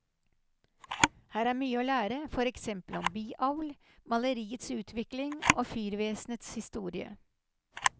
Her er mye å lære, for eksempel om biavl, maleriets utvikling og fyrvesenets historie.